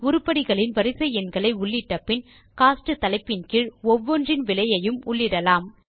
உருப்படிகளின் வரிசை எண்களை உள்ளிட்ட பின் கோஸ்ட் தலைப்பின் கீழ் ஒவ்வொன்றின் விலையையும் உள்ளிடலாம்